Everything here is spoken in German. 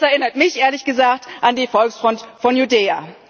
Das erinnert mich, ehrlich gesagt, an die Volksfront von Judäa.